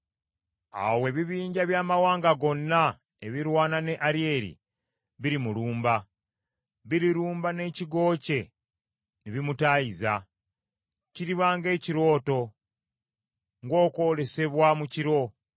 Awo ebibinja by’amawanga gonna ebirwana ne Alyeri birimulumba, birirumba n’ekigo kye ne bimutaayiza; kiriba ng’ekirooto, ng’okwolesebwa mu kiro